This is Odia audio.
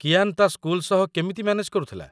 କିଆନ୍ ତା' ସ୍କୁଲ ସହ କେମିତି ମ୍ୟାନେଜ୍ କରୁଥିଲା?